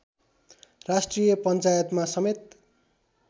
राष्ट्रिय पञ्चायतमा समेत